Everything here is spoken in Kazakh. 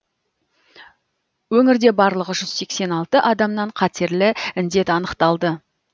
өңірде барлығы жүз сексен алты адамнан қатерлі індет анықталды